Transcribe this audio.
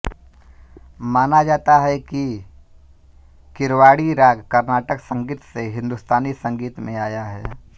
माना जाता है कि कीरवाणि राग कर्नाटक संगीत से हिन्दुस्तानी संगीत में आया है